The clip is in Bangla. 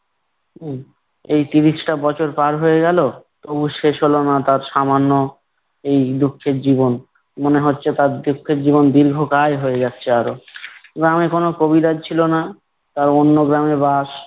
উম এই ত্রিশটা বছর পার হয়ে গেলো তবু শেষ হলো না তার সামান্য এই দুঃখের জীবন। মনে হচ্ছে তার দুঃখের জীবন দীর্ঘকায় হয়ে যাচ্ছে আরো। গ্রামে কোনো কবিরাজ ছিল না। তার অন্য গ্রামে বাস।